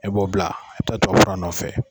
E b'o bila e bɛ taa tubabu fura nɔfɔ.